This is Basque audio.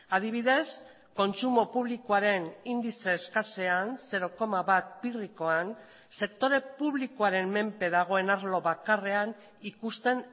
adibidez kontsumo publikoaren indize eskasean zero koma bat pirrikoan sektore publikoaren menpe dagoen arlo bakarrean ikusten